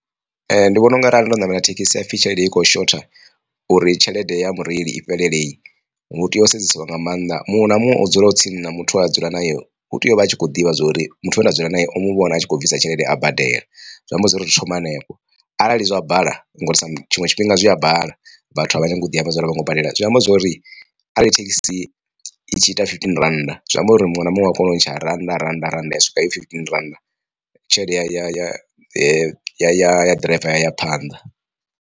Ndi vhona unga arali ndo ṋamela thekhisi hapfhi tshelede i kho shotha uri tshelede ya mureili i fhelele hu tea u sedzesiwa nga maanḓa muṅwe na muṅwe o dzula o tsini na muthu we a dzula naye hu tea uvha atshi kho ḓivha zwori muthu we nda dzula naye o muvhona a tshi kho bvisa tshelede a badela. Zwi amba zwori zwi thoma henefho arali zwa bala ngori sa tshinwe tshifhinga zwi a bala vhathu a vha nyagi u ḓi amba zwori hango badela zwi amba zwori arali thekhisi i tshi ita fifteen rannda zwi amba uri muṅwe na muṅwe u a kona u ntsha rannda, rannda, rannda ya swika heyo fifteen rannda tshelede ya ya ya ya ḓiraiva ya ya phanḓa.